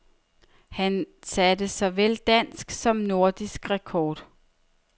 Han satte såvel dansk som nordisk rekord.